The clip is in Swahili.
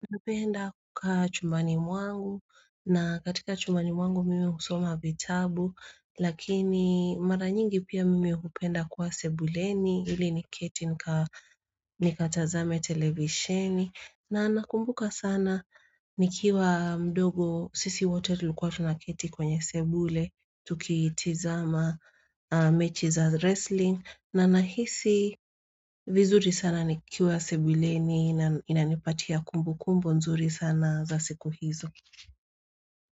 Napenda kuka chumani wangu na katika chumani wangu mimi husoma vitabu lakini mara nyingi pia mimi hupenda kwa sebuleni ili ni keti nikatazame televisheni na nakumbuka sana nikiwa mdogo sisi wote tulikuwa tunaketi kwenye sebule tuki tizama mechi za wrestling na nahisi vizuri sana nikiwa sebuleni na inanipatia kumbu kumbu nzuri sana za siku hizo.